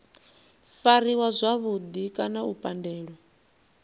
fariwa zwavhudi kana u pandelwa